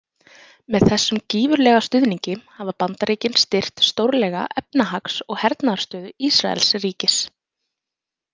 Með þessum gífurlega stuðningi hafa Bandaríkin styrkt stórlega efnahags- og hernaðarstöðu Ísraelsríkis.